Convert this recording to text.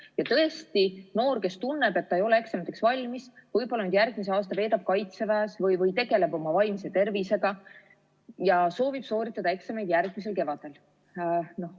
Ja tõesti, noor, kes tunneb, et ta ei ole eksamiteks valmis, võib-olla järgmise aasta veedab Kaitseväes või tegeleb oma vaimse tervisega ja soovib sooritada eksamid järgmisel kevadel.